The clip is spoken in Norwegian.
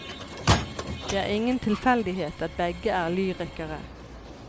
Det er ingen tilfeldighet at begge er lyrikere.